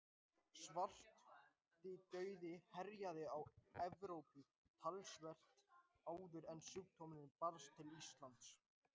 Svartidauði herjaði á Evrópu töluvert áður en sjúkdómurinn barst til Íslands.